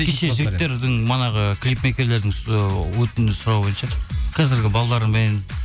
кеше жігіттердің манағы клипмейкерлердің сұрауы бойынша қазіргі балалармен